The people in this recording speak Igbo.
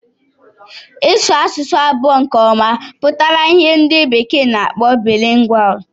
Ịsu asụsụ abụọ nke ọma pụtara ìhè ndị bekee na-akpọ Bilingual.